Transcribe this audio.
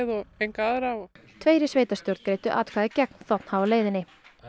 og enga aðra tveir í sveitarstjórn greiddu atkvæði gegn þ h leiðinni